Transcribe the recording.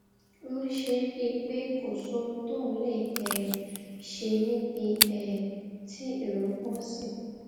ń ṣe é bíi pé kò sóhun tóun lè um ṣe níbi um tí èrò pò sí